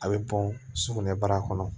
A bɛ bɔn sugunɛbara kɔnɔ